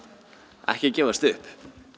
ekki gefast upp